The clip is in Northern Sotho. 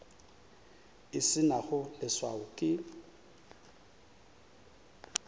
e se nago leswao ke